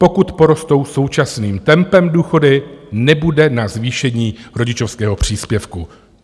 Pokud porostou současným tempem důchody, nebude na zvýšení rodičovského příspěvku.